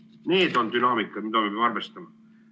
Need on dünaamikad, mida me peame arvestama.